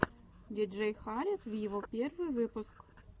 диджей халед виво первый выпуск